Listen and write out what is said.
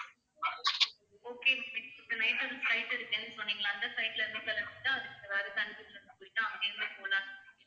okay இப்ப night வந்து flight இருக்குன்னு சொன்னீங்கல்ல அந்த flight ல